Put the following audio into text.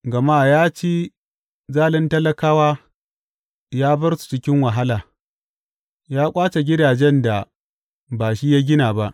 Gama ya ci zalin talakawa ya bar su cikin wahala; ya ƙwace gidajen da ba shi ya gina ba.